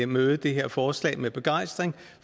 møde det her forslag med begejstring